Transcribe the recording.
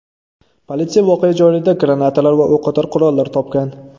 Politsiya voqea joyida granatalar va o‘qotar qurollar topgan.